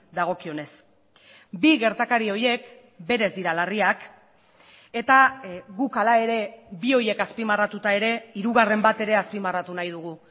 dagokionez bi gertakari horiek berez dira larriak eta guk hala ere bi horiek azpimarratuta ere hirugarren bat ere azpimarratu nahi dugu